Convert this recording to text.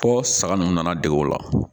Fɔ saga ninnu nana dege o la